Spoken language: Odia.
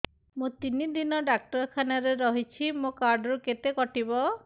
ମୁଁ ତିନି ଦିନ ଡାକ୍ତର ଖାନାରେ ରହିଛି ମୋର କାର୍ଡ ରୁ କେତେ କଟିବ